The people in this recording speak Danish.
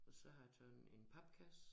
Og så har jeg taget en papkasse